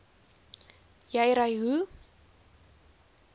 jy ry hoe